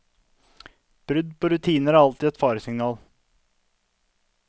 Brudd på rutiner var alltid et faresignal.